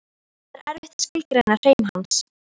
Það er erfitt að skilgreina hreim hans.